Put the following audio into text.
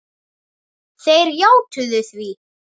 Þeir játuðu því.